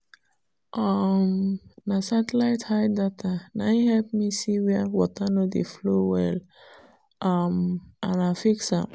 um na satellite height data na im help me see where water no dey flow well um and i fix am.